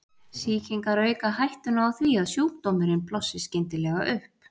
Sýkingar auka hættuna á því að sjúkdómurinn blossi skyndilega upp.